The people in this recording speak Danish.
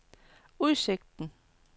udsigten